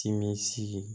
Timinsigi